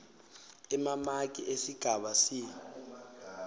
emamaki esigaba c